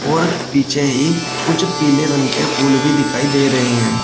और पीछे ही कुछ पीले रंग के फूल भी दिखाई दे रहे हैं।